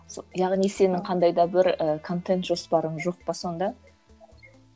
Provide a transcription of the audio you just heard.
яғни сенің қандай да бір і контент жоспарың жоқ па сонда